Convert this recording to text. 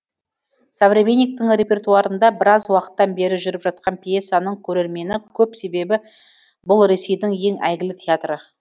современниктің репертуарында біраз уақыттан бері жүріп жатқан пьесаның көрермені көп себебі бұл ресейдің ең әйгілі театры